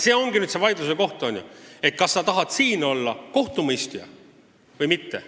See ongi see vaidluse koht, eks ole, kas sa tahad siin olla kohtumõistja või mitte.